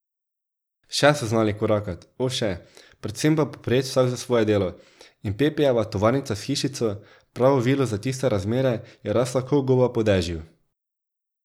Še so znali korakat, o še, predvsem pa poprijet vsak za svoje delo, in Pepijeva tovarnica s hišico, pravo vilo za tiste razmere, je rasla ko goba po dežju.